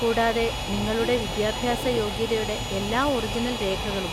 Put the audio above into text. കൂടാതെ നിങ്ങളുടെ വിദ്യാഭ്യാസ യോഗ്യതയുടെ എല്ലാ ഒറിജിനൽ രേഖകളും.